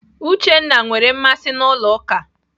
Uchenna nwere mmasị n'ụlọ ụka.